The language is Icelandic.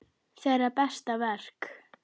Þeirra besta verk.